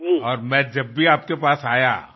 आणि मी जेव्हा जेव्हा तुमच्याकडे आलो